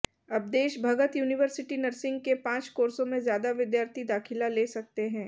अब Desh Bhagat university nursing के पांच कोर्सों में ज्यादा विद्यार्थी दाखिला ले सकते हैं